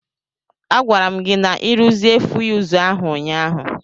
A gwara m gi na-ịruzie fuyuz ahụ ụnyaahụ.